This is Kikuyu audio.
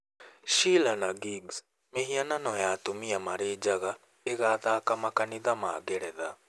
Sheela-na-gigs: Mĩhianano ya atumia marĩ njaga ĩgathaka makanitha ma Ngeretha